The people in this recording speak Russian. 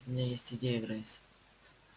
у меня есть идея грейс